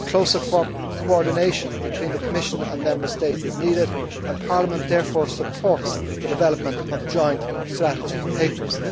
Closer coordination between the Commission and Member States is needed and Parliament therefore supports the development of joint strategy papers.